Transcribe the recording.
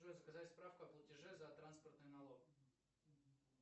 джой заказать справку о платеже за транспортный налог